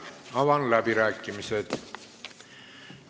Avan läbirääkimised.